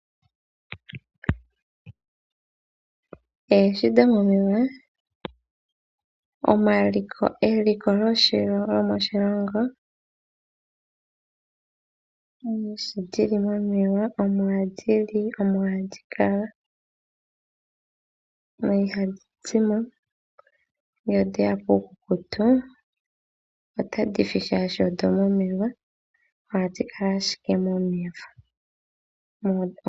Oohi dhomomeya, eliko lyomoshilongo. Oohi dhi momeya omo hadhi li omo hadhi kala na ihadhi zimo. Ngele odheya puukukutu otadhi si shaashi odho momeya. Ohadhi kala ashike momeya.